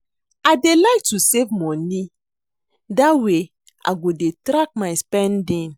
I dey like to save money dat way I go dey track my spending